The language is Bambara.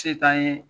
Se t'an ye